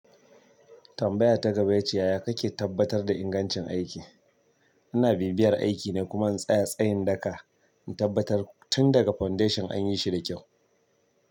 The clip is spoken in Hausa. Tambaya ta gaba yace yaya kake tabbatar da ingancin aiki? Ina bibiyar aiki ne kuma en tsaya tsayin daka, en tabbatar tun daga foundation an yi shi da kyau.